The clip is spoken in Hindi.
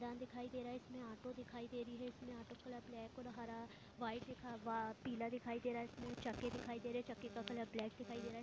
यहाँ दिखाई दे रहा है इसमें ऑटो दिखाई दे रही है इसमें ऑटो का कलर ब्लैक और हरा व्हाइट दिखा वा पीला दिखाई दे रहा इसमें चक्के दिखाई दे रहे चक्के का कलर ब्लैक दिखाई दे रहा है।